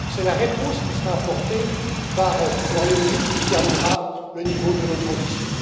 C'est la réponse qui sera apportée par le Royaume Uni qui déterminera le niveau de notre ambition.